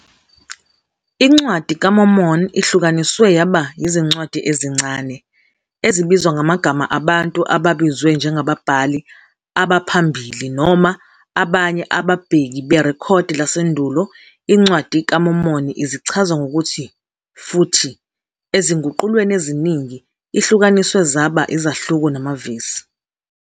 INcwadi kaMormoni ihlukaniswe yaba yizincwadi ezincane, ezibizwa ngamagama abantu ababizwe njengababhali abaphambili noma abanye ababheki berekhodi lasendulo iNcwadi kaMormoni izichaza ngokuthi futhi, ezinguqulweni eziningi, ihlukaniswe zaba izahluko namavesi.